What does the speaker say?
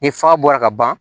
Ni fa bɔra ka ban